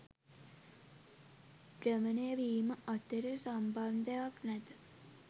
භ්‍රමණය වීම අතර සම්බන්ධයක් නැත.